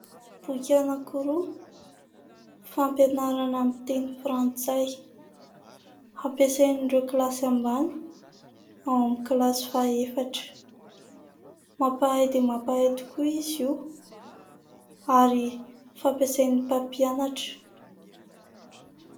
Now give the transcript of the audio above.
Boky anankiroa fampianarana amin'ny teny frantsay ampasain'ireo kilasy ambany, ao amin'ny kilasy faha-efatra. Mampahay dia mampahay tokoa izy io ary fampiasan'ny mpampianatra.